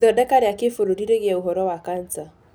Ithodeka rĩa kĩbũrũri rĩgie ũhoro wa Cancer.